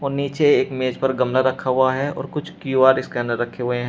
और नीचे एक मेज पर गमला रखा हुआ है और कुछ क्यू_आर स्कैनर रखे हुए हैं।